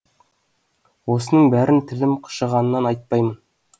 осының бәрін тілім қышығаннан айтпаймын